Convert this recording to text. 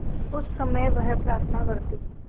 उस समय वह प्रार्थना करती